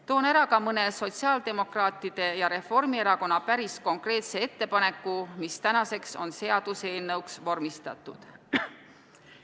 Toon ära ka mõne sotsiaaldemokraatide ja Reformierakonna päris konkreetse ettepaneku, mis tänaseks on seaduseelnõuks vormistatud.